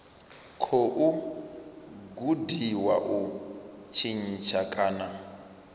khou gudiwa u tshintsha kana